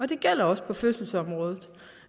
det gælder også på fødselsområdet